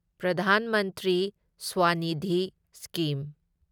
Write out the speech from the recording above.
Pradhan Mantri Swanidhi scheme